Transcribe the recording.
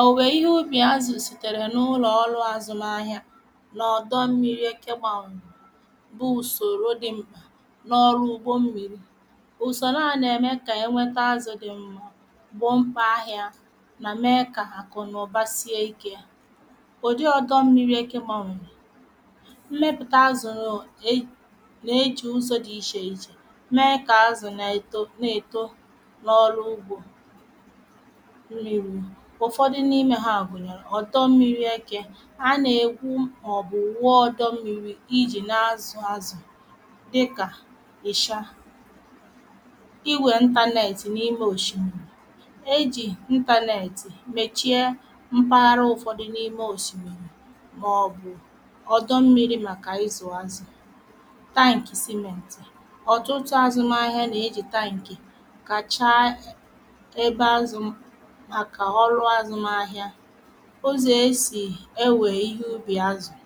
òwùwè ihe ubì azù sìtèrè n’ụlọ̀ ọrụ̇ azụ̀mahịa nà ọ̀dọ mmiri ekegbanwe bụ ùsòrò dị mbà n’ọrụ ugbo mmiri ùsòro a nà ème kà ènweta azụ̇ dị mmȧ gbo mkpà ahịȧ nà mee kà àkụ̀ n’ụ̀bà sie ikė. ùdị ọ̀dọ mmiri ekegbanwe mmepùta azụ̀ nà e jì ụzọ̇ dị ichè ichè mẹė kà azụ̀ na-èto n’ọrụ ugbò. ụfọdụ n’imė ha gùnyèrè ọ̀dọ mmiri ekė anà-ègwu màọ̀bụ̀ wụọ ọ̀dọ mmiri ijì na-azụ̇ azụ̀ dịkà ị̀cha iwè ntanetị̀ n’ime òshìmìrì e jì ntanetị̀ mèchie mpaghara ụfọdụ n’ime òshìmìrì màọ̀bụ̀ ọ̀dọ mmiri màkà izù azù. taǹkì simenti ọ̀tụtụ azụ̇mahịa nà e jì taǹkè kàchaa ebe azụ̀ maka ọrụ azụmahịa. ụzọ̀ esì enwèrè ihe ubi̇ azụ̀